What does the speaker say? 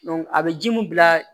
a bɛ ji mun bila